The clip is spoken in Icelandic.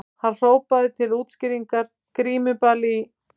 Hann hrópaði til útskýringar:- Grímuball í